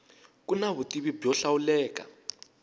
ku na vutivi byo hlawuleka